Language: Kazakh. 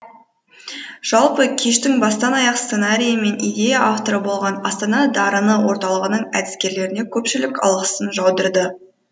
жалпы кештің бастан аяқ сценарийі мен идея авторы болған астана дарыны орталығының әдіскерлеріне көпшілік алғысын жаудырды